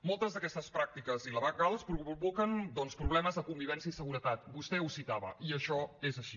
moltes d’aquestes pràctiques il·legals provoquen doncs problemes de convivència i seguretat vostè ho citava i això és així